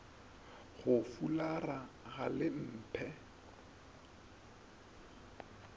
go fulara ga le mphe